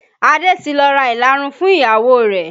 Adé ti lọ ra ìlarun fún ìyàwó rẹ̀